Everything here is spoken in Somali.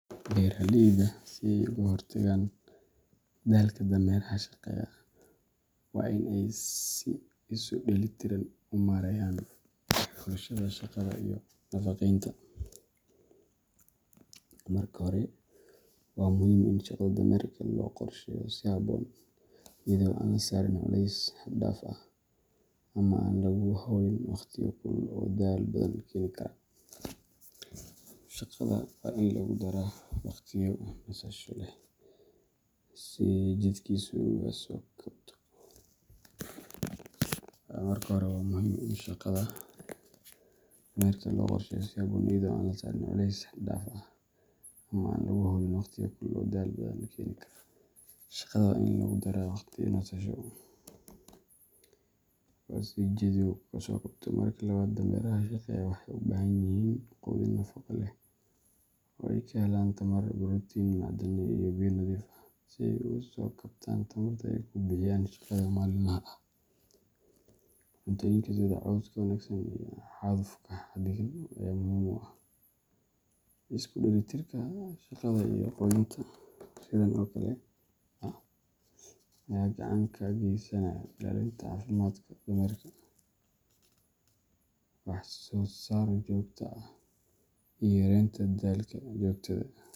Beeraleydu si ay uga hortagaan daalka dameeraha shaqeeya, waa in ay si isu dheellitiran u maareeyaan xulashada shaqada iyo nafaqeynta. Marka hore, waa muhiim in shaqada dameerka loo qorsheeyo si habboon, iyadoo aan la saarin culeys xad dhaaf ah ama aan lagu hawlin waqtiyo kulul oo daal badan keeni kara. Shaqada waa in lagu daraa waqtiyo nasasho leh si jidhkiisu uga soo kabto. Marka labaad, dameeraha shaqeeya waxay u baahan yihiin quudin nafaqo leh oo ay ka helaan tamar, borotiin, macdano iyo biyo nadiif ah, si ay uga soo kabtaan tamarta ay ku bixiyaan shaqada maalinlaha ah. Cuntooyinka sida cawska wanaagsan iyo hadhuudhka xadidan ayaa muhiim u ah. Isku dheelitirka shaqada iyo quudinta sidan oo kale ah ayaa gacan ka geysanaya ilaalinta caafimaadka dameerka, wax-soo-saar joogto ah, iyo yareynta daalka joogtada.